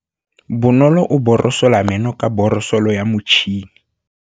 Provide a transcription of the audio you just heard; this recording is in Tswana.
Bonolô o borosola meno ka borosolo ya motšhine.